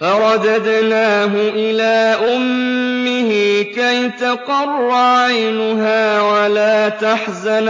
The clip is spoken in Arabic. فَرَدَدْنَاهُ إِلَىٰ أُمِّهِ كَيْ تَقَرَّ عَيْنُهَا وَلَا تَحْزَنَ